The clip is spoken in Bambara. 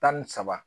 Tan ni saba